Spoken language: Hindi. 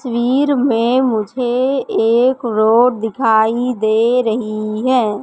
तस्वीर में मुझे एक रोड दिखाई दे रही है।